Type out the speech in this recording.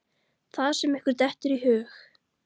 Það sem ykkur dettur í hug!